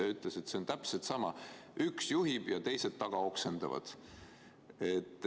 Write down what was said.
Ta ütles täpselt sama: üks juhib ja teised taga oksendavad.